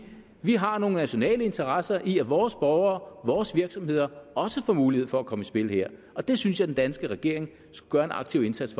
vi har nogle nationale interesse i at vores borgere vores virksomheder også får mulighed for at komme i spil her og det synes jeg den danske regering skulle gøre en aktiv indsats